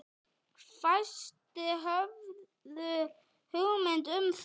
Fæstir höfðu hugmynd um það.